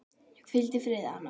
Hvíldu í friði, Anna mín.